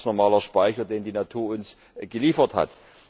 Das ist ein ganz normaler Speicher, den die Natur uns geliefert hat.